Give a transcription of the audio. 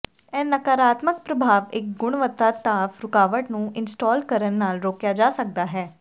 ਇਹ ਨਕਾਰਾਤਮਕ ਪ੍ਰਭਾਵ ਇੱਕ ਗੁਣਵੱਤਾ ਭਾਫ਼ ਰੁਕਾਵਟ ਨੂੰ ਇੰਸਟਾਲ ਕਰਨ ਨਾਲ ਰੋਕਿਆ ਜਾ ਸਕਦਾ ਹੈ